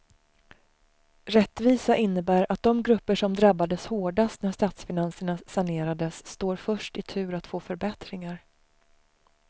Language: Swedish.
Rättvisa innebär att de grupper som drabbades hårdast när statsfinanserna sanerades står först i tur att få förbättringar.